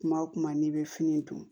Kuma o kuma n'i bɛ fini dun